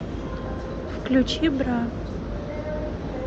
включи бра